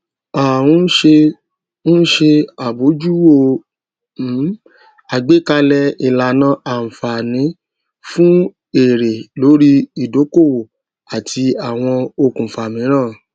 a n se n se abojuwo um àgbékalẹ ìlànà anfààní fún èrè lórí ìdókòwò àti àwọn okùnfà míràn